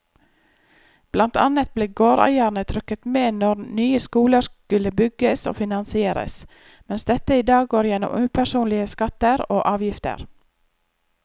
Blant annet ble gårdeierne trukket med når nye skoler skulle bygges og finansieres, mens dette i dag går gjennom upersonlige skatter og avgifter.